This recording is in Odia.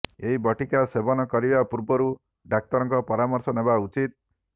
ଏହି ବଟିକା ସେବନ କରିବା ପୂର୍ବରୁ ଡାକ୍ତରଙ୍କ ପରାମର୍ଶ ନେବା ଉଚିତ